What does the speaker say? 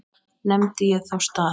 Nefndi ég þá stað.